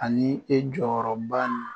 Ani e jɔyɔrɔ ba nin